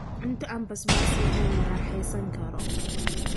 Cunto aan basbaas lahayn Ma raaxaysan karo.